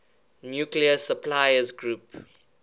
nuclear suppliers group